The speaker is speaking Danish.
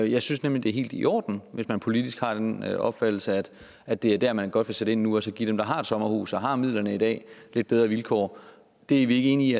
jeg synes nemlig det er helt i orden at man politisk har den opfattelse at at det er der man godt vil sætte ind nu og så give dem der har et sommerhus og har midlerne i dag lidt bedre vilkår det er vi ikke enige i